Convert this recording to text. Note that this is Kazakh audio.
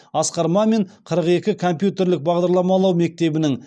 асқар мамин қырық екі компьютерлік бағдарламалау мектебінің